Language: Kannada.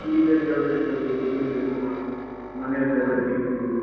ಈಗ ಕೆಲಸಕ್ಕೆ ಹೋಗ್ಬೇಕು, ದುಡಿಬೇಕು ಮನೆಯಲ್ಲೆಲ್ಲ ಕಿರಿಕಿರಿ.